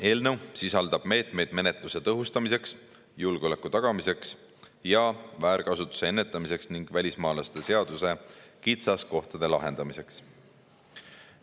Eelnõu sisaldab meetmeid menetluse tõhustamiseks, julgeoleku tagamiseks ja väärkasutuse ennetamiseks ning välismaalaste seaduse kitsaskohtade lahendamiseks.